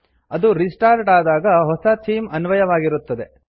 ಅದು ರಿಸ್ಟಾರ್ಟ್ ಆದಾಗ ಹೊಸ ಥೀಮ್ ಅನ್ವಯವಾಗಿರುತ್ತದೆ